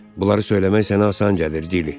Bunları söyləmək sənə asan gəlir, Dilya.